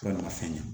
Yɔrɔ ma fɛn ye